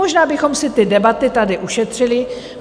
Možná bychom si ty debaty tady ušetřili.